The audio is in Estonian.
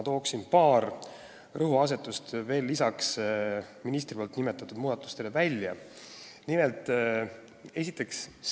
Toon aga lisaks ministri nimetatud muudatustele välja veel paar rõhuasetust.